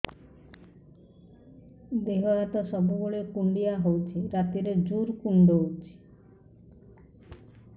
ଦେହ ହାତ ସବୁବେଳେ କୁଣ୍ଡିଆ ହଉଚି ରାତିରେ ଜୁର୍ କୁଣ୍ଡଉଚି